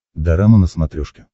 дорама на смотрешке